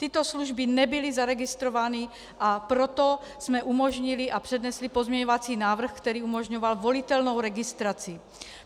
Tyto služby nebyly zaregistrovány, a proto jsme umožnili a přednesli pozměňovací návrh, který umožňoval volitelnou registraci.